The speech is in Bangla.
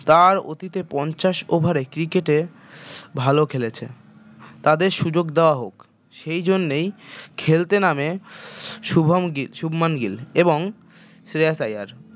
তার অতীতে পঞ্চাশ over এ cricket এ ভাল খেলেছে তাদের সুযোগ দেওয়া হোক সেই জন্যেই খেলতে নামে শুভাম গিল শুভমান গিল এবং শ্রেয়াস আইয়ার